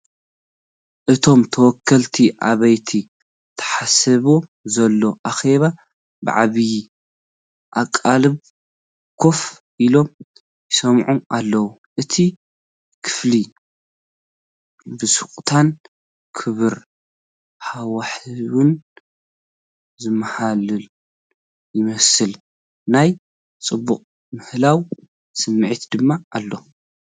እቶም ተወከልቲ ኣብቲ ተሓሲቡ ዘሎ ኣኼባ ብዓቢ ኣቓልቦ ኮፍ ኢሎም ይሰምዑ ኣለው። እቲ ክፍሊ ብስቕታን ክቡር ሃዋህውን ዝተመልአ ይመስል፣ ናይ ጽቡቕ ምህላው ስምዒት ድማ ኣሎ።